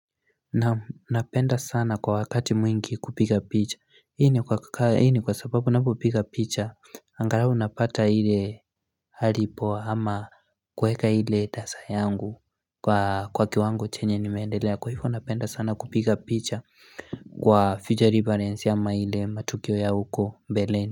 Naam napenda sana kwa wakati mwingi kupiga picha. Hii ni kwa sababu ninapopiga picha. Angalau napata ile hali poa ama kuweka ile tasa yangu kwa kiwango chenye nimeendelea. Kwa hivyo napenda sana kupiga picha kwa future reference ama ile matukio ya huko mbeleni.